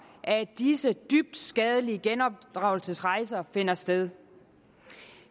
at disse dybt skadelige genopdragelsesrejser finder sted